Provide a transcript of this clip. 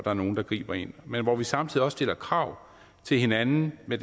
er nogle der griber en men hvor vi samtidig også stiller krav til hinanden med